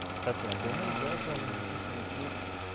кстати я думаю из-за этого мужики-то и пьют